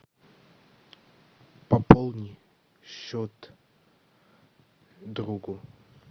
пополни счет другу